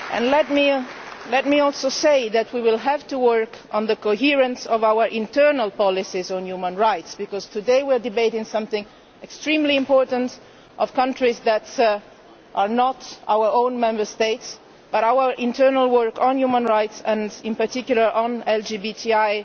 Let me also say that we will have to work on the coherence of our internal policies on human rights, because today we are debating something extremely important concerning countries that are not our own Member States, and in our internal work on human rights, and in particular on LGBTI,